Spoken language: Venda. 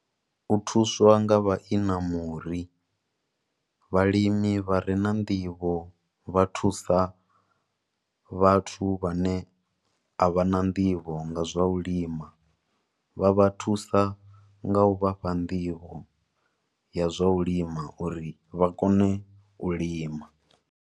U thuswa nga vha inamuri, vhalimi vhare na nḓivho vha thusa vhathu vhane avhana nḓivho nga zwa u lima. Vha vha thusa nga u vhafha nḓivho ya zwa u lima uri vha kone u lima.